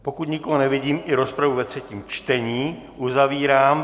Pokud nikoho nevidím, i rozpravu ve třetím čtení uzavírám.